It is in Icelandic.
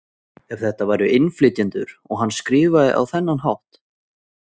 Ef þetta væru innflytjendur og hann skrifaði á þennan hátt?